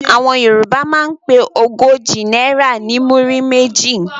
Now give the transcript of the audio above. Àwọn Yorùbá máa ń pe ogójì náírà ní "múrí méjì".